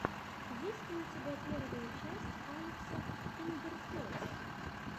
есть ли у тебя первая часть алекса киндертойс